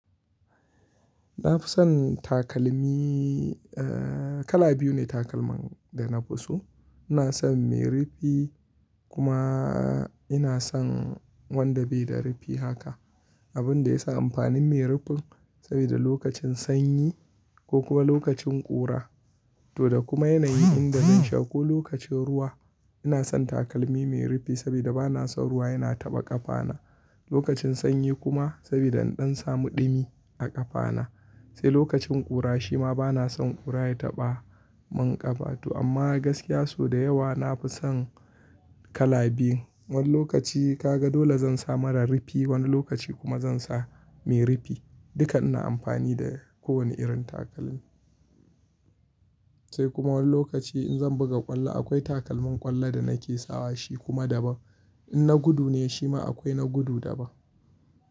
Na fi son takalmi, kala biyu ne takalman da na fi so. Ina son mai rufi kuma ina son wanda bai da rufi haka. Abun da ya sa amfanin mai rufin saboda lokacin sanyi ko kuma lokacin ƙura. To da kuma yanayi inda zan sha ko lokacin ruwa ina son takalmi mai rufi saboda ba na son ruwa yana taɓa ƙafana. Lokacin sanyi kuma saboda in ɗan samu ɗumi a ƙafana. Sai lokacin ƙura shi ma ba na son ƙura ya taɓa min ƙafa. Amma gaskiya so da yawa na fi son kala biyu. Wani lokaci ka ga dole zan sa marar rufi, wani lokaci kuma zan sa mai rufi. Duka ina amfani da kowane irin takalmi. Sai kuma wani lokaci in zan buga ƙwallo akwai takalmin ƙwallo da nake sawa shi kuma daban. In na gudu ne shi ma akwai na gudu daban.